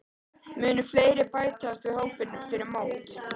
Munu fleiri bætast við hópinn fyrir mót?